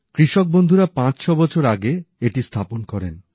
কৃষক বন্ধুরা পাঁচছ বছর আগে এটি স্থাপন করেন